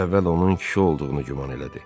Əvvəl onun kişi olduğunu güman elədi.